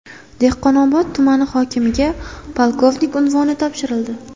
Dehqonobod tumani hokimiga polkovnik unvoni topshirildi.